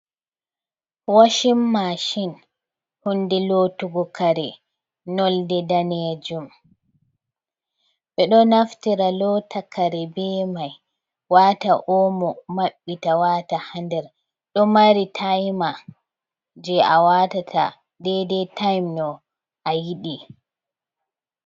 Washin mashin huunde lootugo kare nonde daneejum, ɓe ɗo naftira loota kare bee mai, waata omo maɓɓbta waata ha nder, ɗo mari time jey a waatata deidei time no a yiɗi.